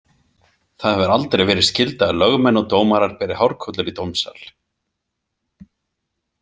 Það hefur aldrei verið skylda að lögmenn og dómarar beri hárkollur í dómsal.